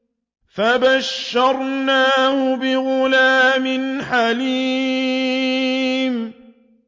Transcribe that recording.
فَبَشَّرْنَاهُ بِغُلَامٍ حَلِيمٍ